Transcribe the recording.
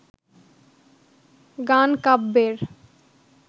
গান কাব্যের